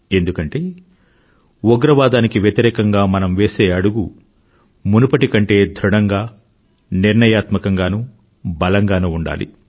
ఎందుకంటే ఉగ్రవాదానికి వ్యతిరేకంగా మనం వేసే అడుగు మునుపటి కంటే ధృఢంగా నిర్ణయాత్మకంగానూ బలంగానూ ఉండాలి